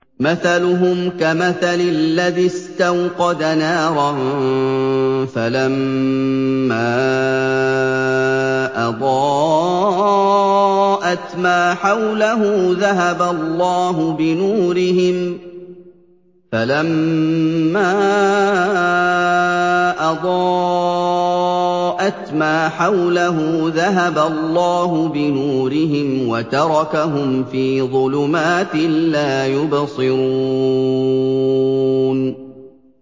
مَثَلُهُمْ كَمَثَلِ الَّذِي اسْتَوْقَدَ نَارًا فَلَمَّا أَضَاءَتْ مَا حَوْلَهُ ذَهَبَ اللَّهُ بِنُورِهِمْ وَتَرَكَهُمْ فِي ظُلُمَاتٍ لَّا يُبْصِرُونَ